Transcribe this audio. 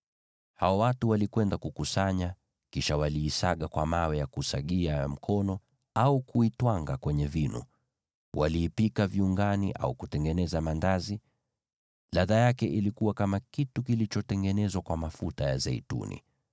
Hao watu walikwenda kukusanya, kisha waliisaga kwa mawe ya kusagia ya mkono au kuitwanga kwenye vinu. Waliipika vyunguni au kutengeneza maandazi. Ladha yake ilikuwa kama kitu kilichotengenezwa kwa mafuta ya zeituni.